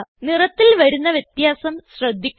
നിറത്തിൽ വരുന്ന വ്യത്യാസം ശ്രദ്ധിക്കുക